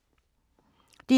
DR2